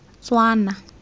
tswana